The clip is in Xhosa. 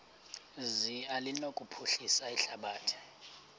zi anokuphilisa ihlabathi